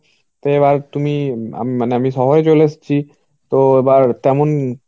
তো এবার তুমি ম~ মানে আমি শহরে চলে এসছি. তো এবার তেমন